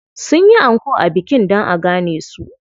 Sun yi anko a bikin dan a gane su.